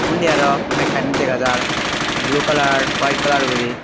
undi araw mekkani dega jar blu kalar huwaet kalar guri.